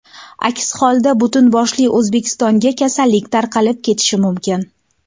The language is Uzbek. Aks holda butun boshli O‘zbekistonga kasallik tarqalib ketishi mumkin.